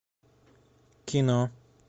кино